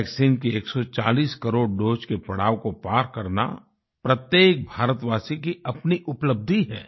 vaccine की 140 crore doses के पड़ाव को पार करना प्रत्येक भारतवासी की अपनी उपलब्धि है